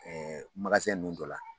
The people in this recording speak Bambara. Ɛɛ ninnu dɔ la